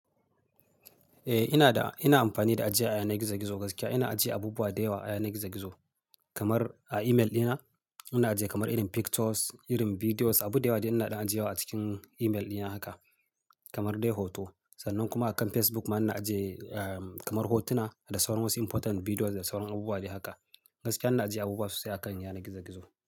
Eh, ina da-- ina amfani da ajiya ayanar gizo-gizo gaskiya. Ina ajiye abubuwa da yawa a yanar gizo-gizo kamar a email dina. Ina ajiye kamar irin pictures, irin videos, abu da yawa da ina ɗin ajiye wa a cikin email dina haka kamar dai hoto. Sannan kuma akan facebook ina ajiye kamar hotuna da saura wasu important videos da sauran abubuwa dai haka. Gaskiya ina ajiye abubuwa sosai a kan yanar gizo-gizo.